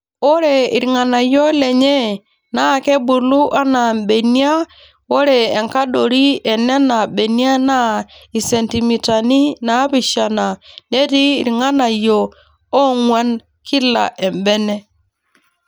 Ore irng'anayio lenye naa kebulu anaa mbenia ore enkadori enena benia naa isentimitani naapishana netii irng'anayio oong'wan kila embene.